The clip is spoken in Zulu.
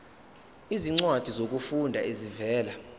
izincwadi zokufunda ezivela